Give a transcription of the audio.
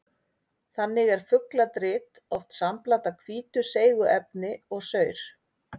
Þannig er fugladrit oft sambland af hvítu seigu efni og saur.